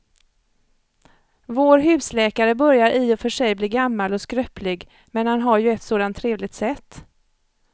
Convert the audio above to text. Vår husläkare börjar i och för sig bli gammal och skröplig, men han har ju ett sådant trevligt sätt!